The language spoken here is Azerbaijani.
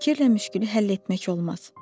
Fikirlə müşkülü həll etmək olmaz.